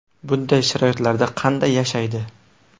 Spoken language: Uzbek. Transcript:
Bunday sharoitlarda qanday yashaydi ?